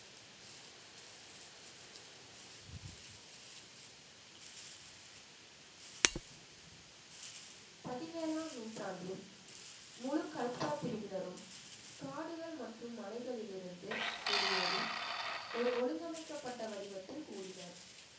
பதினேழாம் நூற்றாண்டில் முழு கல்ஸா பிரிவினரும் காடுகள் மற்றும் மலைகளில் இருந்து வெளியேறி ஒரு ஒழுங்கமைக்கப்பட்ட வடிவத்தில் கூடினர்